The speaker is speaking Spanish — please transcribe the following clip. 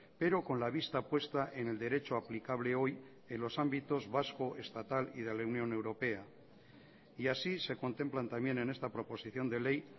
pero con la vista puesta en el derecho aplicable hoy en los ámbitos vasco estatal y de la unión europea y así se contemplan también en esta proposición de ley